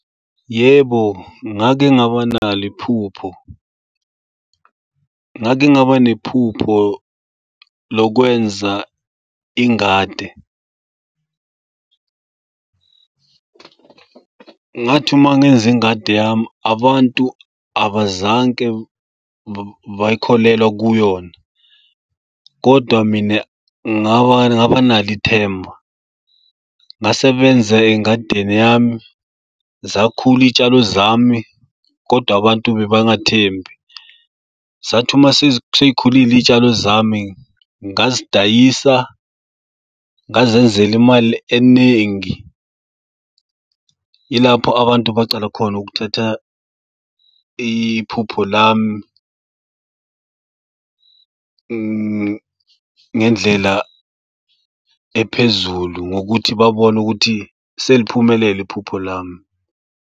Yebo, ngake ngaba nalo iphupho, ngake ngaba nephupho lokwenza ingade. Ngathi uma ngenza ingadi yami abantu abazange bayikholelwa kuyona kodwa mina ngaba ngaba nalo ithemba. Ngasebenza engadini yami, zakhula iy'tshalo zami kodwa abantu beba ngathembi. Zathi uma seyikhulile iy'tshalo zami ngazidayisa ngazenzela imali eningi. Ilapho abantu bacala khona ukuthatha iphupho lami ngendlela ephezulu ngokuthi babone ukuthi seliphumelele iphupho lami.